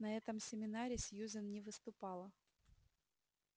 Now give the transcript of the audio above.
на этом семинаре сьюзен не выступала